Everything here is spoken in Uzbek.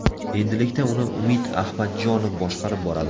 Endilikda uni Umid Ahmadjonov boshqarib boradi.